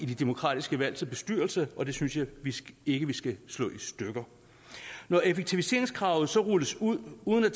de demokratiske valg til bestyrelser og det synes jeg ikke vi skal slå i stykker når effektiviseringskravet så rulles ud uden at